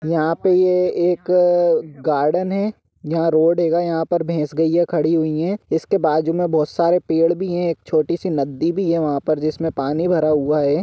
यहा पे ये एक गार्डन है यहा रोड हेगा यहा पर भेस-गैया खड़ी हुई है ईसके बाजु में बहुत सरे पेड़ भि है एक छोटी सी नदी भी है जिस्मने पानी भरा हुआ है।